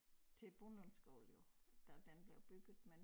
Til æ Brundlundskole jo da den blev bygget men